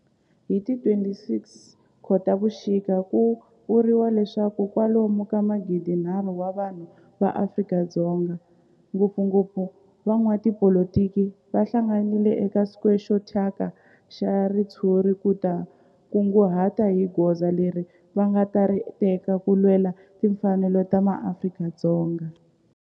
Hi ti 26 Khotavuxika ku vuriwa leswaku kwalomu ka magidi-nharhu wa vanhu va Afrika-Dzonga, ngopfungopfu van'watipolitiki va hlanganile eka square xo thyaka xa ritshuri ku ta kunguhata hi goza leri va nga ta ri teka ku lwela timfanelo ta maAfrika-Dzonga.